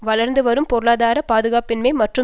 வளர்ந்து வரும் பொருளாதார பாதுகாப்பின்மை மற்றும்